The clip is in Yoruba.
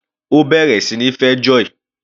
Ó bẹ̀rẹ̀ sí níí fẹ́ Joy.